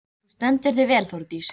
Þú stendur þig vel, Þórdís!